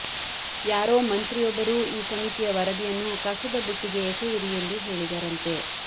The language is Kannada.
ಯಾರೊ ಮಂತ್ರಿಯೊಬ್ಬರು ಈ ಸಮಿತಿಯ ವರದಿಯನ್ನು ಕಸದ ಬುಟ್ಟಿಗೆ ಎಸೆಯಿರಿ ಎಂದು ಹೇಳಿದರಂತೆ